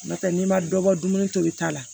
N'o tɛ n'i ma dɔ bɔ dumuni tobi ta la